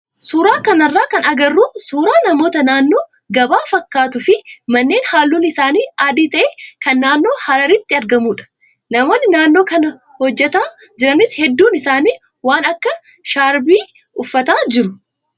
Suuraa kanarraa kan agarru suuraa namoota naannoo gabaa fakkaatuu fi manneen halluun isaanii adii ta'e kan naannoo hararitti argamudha. Namoonni naannoo kana hojjataa jiranis hedduun isaanii waan akka shaarbii uffataa jiru.